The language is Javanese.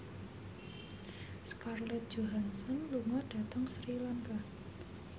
Scarlett Johansson lunga dhateng Sri Lanka